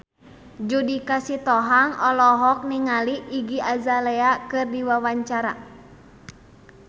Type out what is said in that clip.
Judika Sitohang olohok ningali Iggy Azalea keur diwawancara